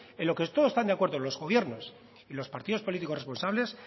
en lo que todos están de acuerdos los gobiernos y en los partidos políticos responsables